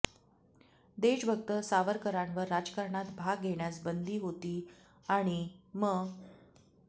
देशभक्त सावरकरांवर राजकारणात भाग घेण्यास बंदी होती आणि म